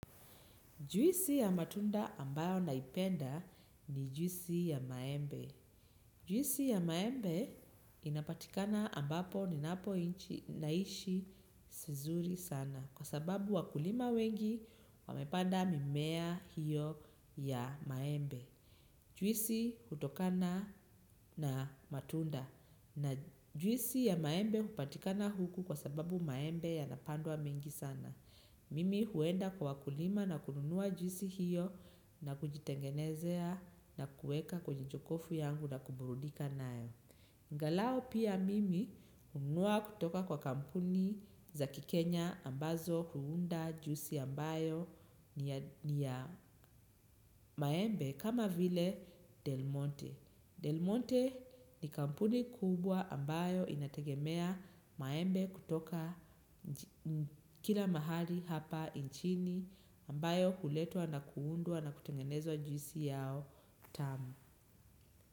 Juisi ya matunda ambayo naipenda ni juisi ya maembe. Juisi ya maembe inapatikana ambapo ninapo inchi naishi sinzuri sana kwa sababu wakulima wengi wamepanda mimea hiyo ya maembe. Juisi hutokana na matunda na juisi ya maembe hupatikana huku kwa sababu maembe ya napandwa mengi sana. Mimi huenda kwa wakulima na kununua juisi hiyo na kujitengenezea na kueka kwenye jokokofu yangu na kuburudika nayo. Angalau pia mimi hununua kutoka kwa kampuni za kikenya ambazo huunda juisi ambayo ni ya maembe kama vile Del Monte. Delmonte ni kampuni kubwa ambayo inategemea maembe kutoka kila mahali hapa nchini ambayo huletwa na kuundwa na kutengenezwa juisi yao tamu.